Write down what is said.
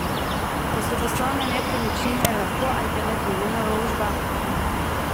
Pa so poslovne nepremičnine lahko alternativna naložba?